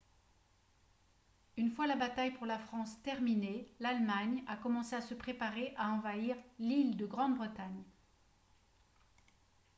une fois la bataille pour la france terminée l'allemagne a commencé à se préparer à envahir l'île de grande-bretagne